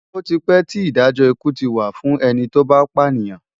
Oti pè ti Idájò ikú ti wá fún èni tó bá pánìyàn